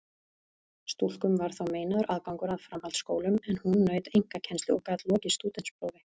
Stúlkum var þá meinaður aðgangur að framhaldsskólum, en hún naut einkakennslu og gat lokið stúdentsprófi.